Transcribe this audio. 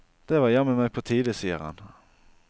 Det var jammen meg på tide, sier han.